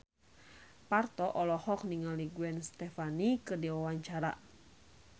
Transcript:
Parto olohok ningali Gwen Stefani keur diwawancara